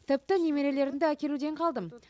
тіпті немерелерімді әкелуден қалдым